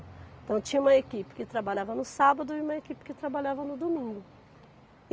Então tinha uma equipe que trabalhava no sábado e uma equipe que trabalhava no domingo.